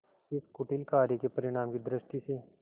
इस कुटिल कार्य के परिणाम की दृष्टि से